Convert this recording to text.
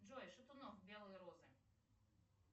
джой шатунов белые розы